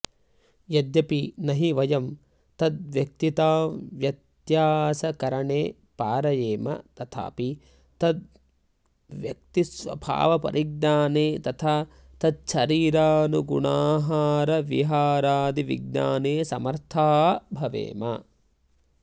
यद्यपि न हि वयं तद्व्यक्तिताव्यत्यासकरणे पारयेम तथापि तत्तद्व्यक्तिस्वभावपरिज्ञाने तथा तच्छरीरानुगुणाहारविहारादिविज्ञाने समर्था भवेम